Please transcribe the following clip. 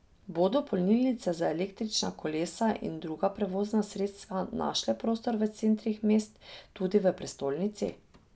Bodo polnilnice za električna kolesa in druga prevozna sredstva našle prostor v centrih mest, tudi v prestolnici?